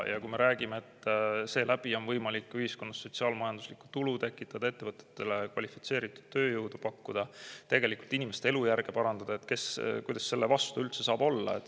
Ja kui me räägime, et seeläbi on võimalik ühiskonnas sotsiaal-majanduslikku tulu tekitada, ettevõtetele kvalifitseeritud tööjõudu pakkuda ja tegelikult inimeste elujärge parandada, siis kuidas saab selle vastu üldse olla.